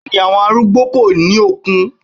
Bẹ́ẹ̀ni, àwọn arúgbó kò ní okun.